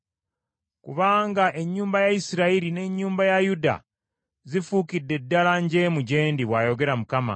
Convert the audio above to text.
Kubanga ennyumba ya Isirayiri n’ennyumba ya Yuda zifuukidde ddala njeemu gye ndi,” bw’ayogera Mukama .